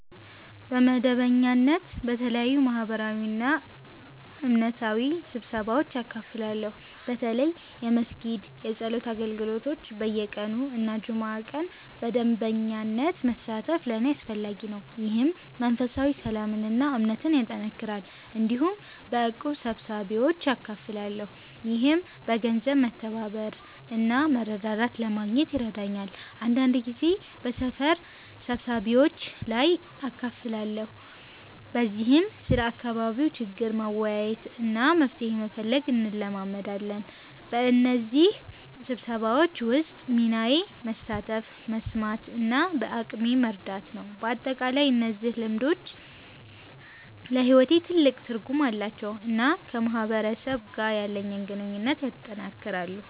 በመደበኛነት በተለያዩ ማህበራዊና እምነታዊ ስብሰባዎች እካፈላለሁ። በተለይ የመስጊድ የጸሎት አገልግሎቶች በየቀኑ እና በጁምዓ ቀን በመደበኛነት መሳተፍ ለእኔ አስፈላጊ ነው፣ ይህም መንፈሳዊ ሰላምን እና እምነትን ያጠናክራል። እንዲሁም በእቁብ ስብሰባዎች እካፈላለሁ፣ ይህም በገንዘብ መተባበር እና መረዳዳት ለማግኘት ይረዳኛል። አንዳንድ ጊዜ በሰፈር ስብሰባዎች ላይም እካፈላለሁ፣ በዚህም ስለ አካባቢ ችግር መወያየት እና መፍትሄ መፈለግ እንለማመዳለን። በእነዚህ ስብሰባዎች ውስጥ ሚናዬ መሳተፍ፣ መስማት እና በአቅሜ መርዳት ነው። በአጠቃላይ እነዚህ ልምዶች ለሕይወቴ ትልቅ ትርጉም አላቸው እና ከማህበረሰብ ጋር ያለኝን ግንኙነት ያጠናክራሉ።